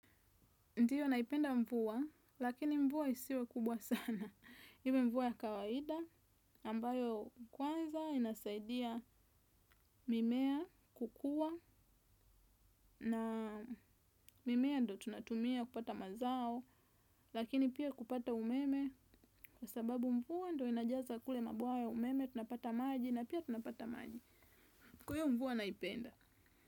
Ndio naipenda mvua, lakini mvua isiwe kubwa sana. Iwe mvua ya kawaida, ambayo kwanza inasaidia mimea kukua, na mimea ndio tunatumia kupata mazao, lakini pia kupata umeme, kwa sababu mvua ndio inajaza kule mabwawa ya umeme, tunapata maji, na pia tunapata maji. Kwa hio mvua naipenda.